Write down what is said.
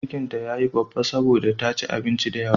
Cikin ta ya yi babba saboda ta ci abinci da yawa.